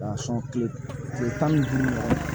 kile tan ni duuru